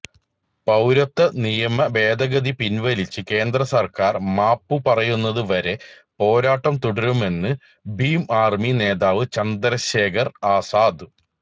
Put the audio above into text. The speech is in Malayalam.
പൌരത്വ നിയമ ഭേദഗതി പിൻവലിച്ച് കേന്ദ്രസർക്കാർ മാപ്പുപറയുന്നത് വരെ പോരാട്ടം തുടരുമെന്ന് ഭീം ആർമി നേതാവ് ചന്ദ്രശേഖർ ആസാദ്